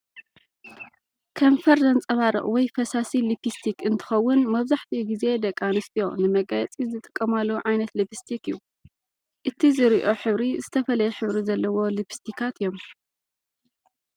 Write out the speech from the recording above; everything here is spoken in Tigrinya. ከንፈር ዘንፀባርቕ ወይ ፈሳሲ ሊፕስቲክ እንትኮውን መብዛሕቲኡ ግዜ ደቂ አንስትዮ ንመጋየፂ ዝጥቀማሉ ዓይነት ልብስቲክ እዩ። እቲ ዚርኦሕብሪ ዝተፈላለየ ሕብሪ ዘለዎ ልብስቲካት እዩም።